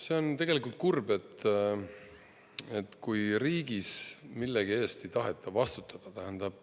See on tegelikult kurb, kui riigis millegi eest ei taheta vastutada.